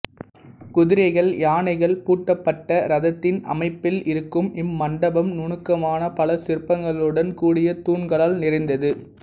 குதிரைகள் யானைகள் பூட்டப்பட்ட ரதத்தின் அமைப்பில் இருக்கும் இம்மண்டபம் நுணுக்கமான பல சிற்பங்களுடன் கூடிய தூண்களால் நிறைந்தது